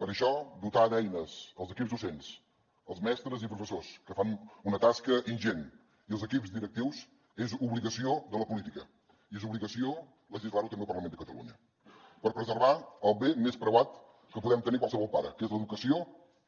per això dotar d’eines els equips docents els mestres i professors que fan una tasca ingent i els equips directius és obligació de la política i és obligació legislar ho també al parlament de catalunya per preservar el bé més preuat que podem tenir qualsevol pare que és l’educació